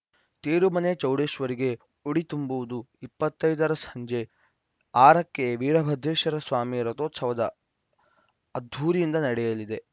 ತೇರುಮನೆ ಚೌಡೇಶ್ವರಿಗೆ ಉಡಿ ತುಂಬುವುದು ಇಪ್ಪತ್ತ್ ಐದರ ಸಂಜೆ ಆರಕ್ಕೆ ವೀರಭದ್ರೇಶ್ವರ ಸ್ವಾಮಿ ರಥೋತ್ಸವ ಅದ್ದೂರಿಯಿಂದ ನಡೆಯಲಿದೆ